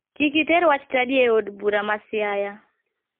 Kik iter wach chadi e od bura ma siaya.